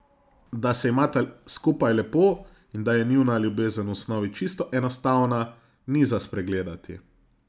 Da se imata skupaj lepo in da je njuna ljubezen v osnovi čisto enostavna, ni za spregledati.